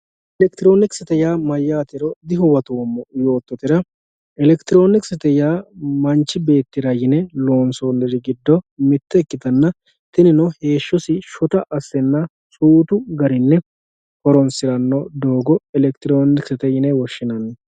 elektirooniksete yaa mayaatero dihuwatoomo yoototera elektirooniksete yaa manchi beettira yine loonsooniri giddo mitte ikkitanna tinino heeshosi shota assenna suutu garini horonsiranno doogo elektirooniksete yine woshshinanni.